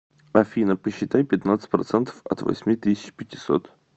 афина посчитай пятнадцать процентов от восьми тысяч пятисот